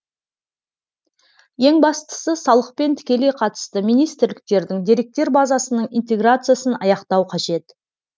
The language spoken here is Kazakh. ең бастысы салықпен тікелей қатысты министрліктердің деректер базасының интеграциясын аяқтау қажет